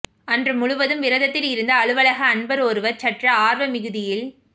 அன்று முழுவதும் விரதத்தில் இருந்த அலுவலக அன்பர் ஒருவர் சற்று ஆர்வ மிகுதியில்